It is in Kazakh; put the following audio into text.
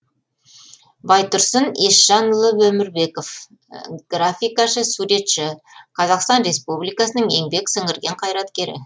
байтұрсын есжанұлы өмірбеков графикашы суретші қазақстан республикасының еңбек сіңірген қайраткері